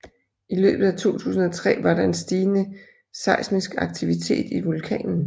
I løbet af 2003 var der en stigende seismisk aktivitet i vulkanen